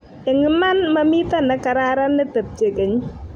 eng' iman mamito ne kararan ne tebie keny